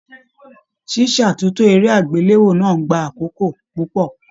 Ṣíṣátúntò eré agbelewo náà n gbà àkókò púpọ.